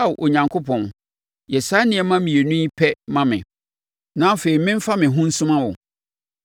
“Ao Onyankopɔn, yɛ saa nneɛma mmienu yi pɛ ma me, na afei meremfa me ho nsuma wo: